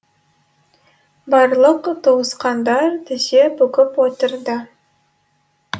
барлық туысқандар тізе бүгіп отырды